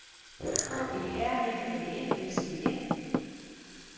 H E R M A N S E N